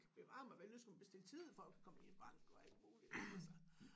Bevar mig vel nu skal man bestille tid for at komme ind i banken og alt muligt altså